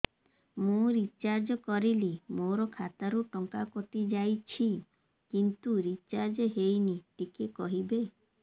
ମୁ ରିଚାର୍ଜ କରିଲି ମୋର ଖାତା ରୁ ଟଙ୍କା କଟି ଯାଇଛି କିନ୍ତୁ ରିଚାର୍ଜ ହେଇନି ଟିକେ କହିବେ